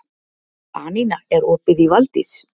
Anína, er opið í Valdís?